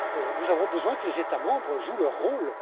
Nous avons besoin que les États membres jouent leur rôle.